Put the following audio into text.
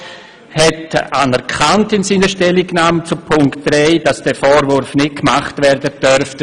Der Regierungsrat hat in seiner Stellungnahme zu Punkt 3 anerkannt, dass dieser Vorwurf nicht erhoben werden darf.